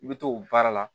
I bɛ to o baara la